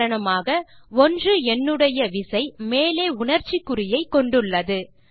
உதாரணமாக 1 எண்ணுடைய விசை மேலே உணர்ச்சி குறியை கொண்டுள்ளது